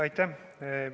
Aitäh!